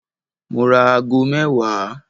Mo ra ago mẹ́wàá.